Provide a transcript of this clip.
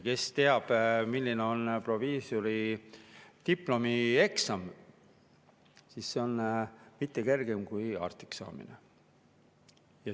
Kes teab, milline on proviisori diplomieksam, see teab, et mitte kergem kui arstiks saada.